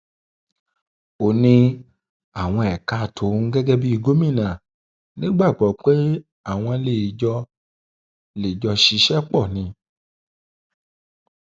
ó ní àwọn ẹka um tóun gẹgẹ bíi gómìnà nígbàgbọ pé àwọn um lè jọ lè jọ ṣiṣẹ pọ ni